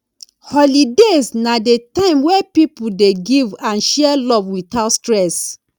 holidays na the time wey people dey give and share love without stress